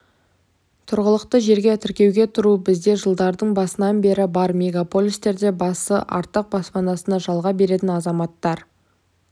тұрғылықты жерге тіркеуге тұру бізде жылдардың басынан бері бар мегополистерде басы артық баспанасын жалға беретін азаматтар